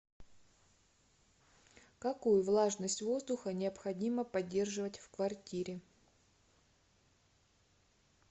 какую влажность воздуха необходимо поддерживать в квартире